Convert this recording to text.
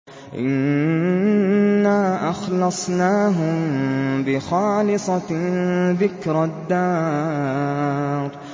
إِنَّا أَخْلَصْنَاهُم بِخَالِصَةٍ ذِكْرَى الدَّارِ